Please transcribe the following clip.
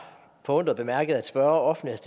forundret bemærket at spørgeren offentligt